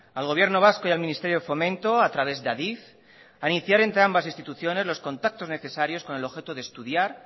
al gobierno vasco y al ministerio de fomento a través de adif a iniciar entre ambas instituciones los contactos necesarios con el objeto de estudiar